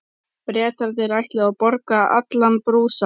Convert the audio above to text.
Bretarnir ætluðu að borga allan brúsann.